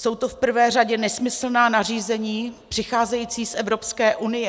Jsou to v prvé řadě nesmyslná nařízení přicházející z Evropské unie.